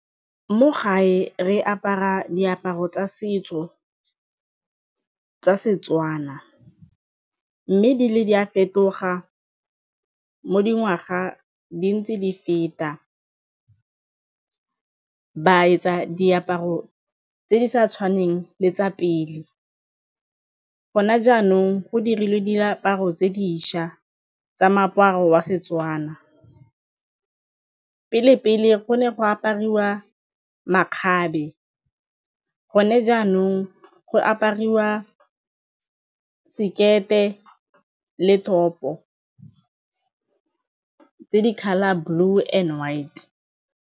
Mo gae, re apara diaparo tsa setso tsa Setswana mme di ne di a fetoga mo dingwaga di ntse di feta, ba etsa diaparo tse di sa tshwaneng le tsa pele gone jaanong go dirilwe diaparo tse dišwa tsa moaparo wa Setswana. Pele-pele go ne go aparwa makgabe, gone jaanong go apariwa sekete le top-o tse di colour blue and white.